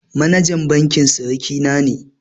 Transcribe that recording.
Manajan bankin siriki na ne